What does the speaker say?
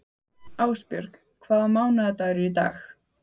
Ásbjörg, hvaða mánaðardagur er í dag?